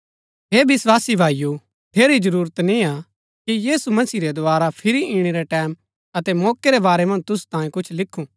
हे विस्वासी भाईओ ठेरी जरूरत निय्आ कि यीशु मसीह रै दोवारा फिरी इणै रै टैमं अतै मौकै रै वारै मन्ज तुसु तांयें कुछ लिखु